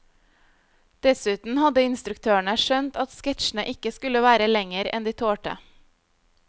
Dessuten hadde instruktørene skjønt at sketsjene ikke skulle være lenger enn de tålte.